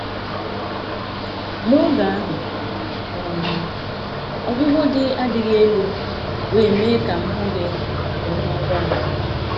N’oge ahụ, um ọgwụgwọ dị adịghị elu, wee mee ka m hụghị nke ọma ngwa ngwa.